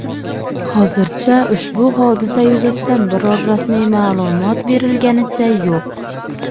Hozircha ushbu hodisa yuzasidan biror rasmiy ma’lumot berilganicha yo‘q.